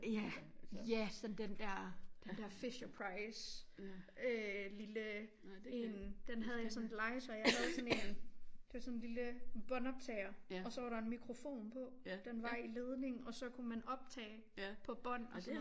Ja ja sådan den der den der Fisher-Price øh lille en den havde jeg sådan et legetøj af jeg havde sådan en det var sådan en lille båndoptager og så var der en mikrofon på den var i ledning og så kunne man optage på bånd